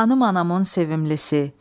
Xanım anamın sevimlisi.